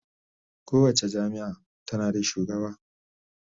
Kowace jami'a tana da shugaba